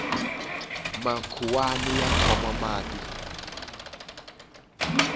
makhuwani ya khoma mati